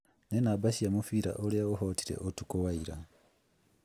nĩ namba cia mũbira ũrĩa ũhootire ũtukũ wa ira.